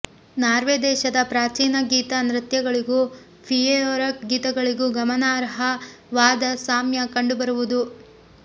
Norway ದೇಶದ ಪ್ರಾಚೀನ ಗೀತ ನೃತ್ಯಗಳಿಗೂ ಫೆಯಿರೊಯಕ್ ಗೀತಗಳಿಗೂ ಗಮನಾರ್ಹ ವಾದ ಸಾಮ್ಯ ಕಂಡುಬರುವುದು